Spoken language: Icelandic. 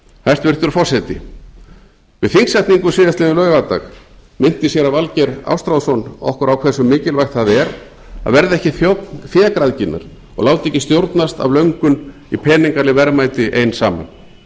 hæstvirtur forseti við þingsetningu síðastliðinn laugardag minnti séra valgeir ástráðsson okkur á hversu mikilvægt það er að verða ekki þjónn fégræðginnar og láta ekki stjórnast af löndum í peningaleg verðmæti ein saman hinn